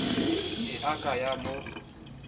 e a ka ya mo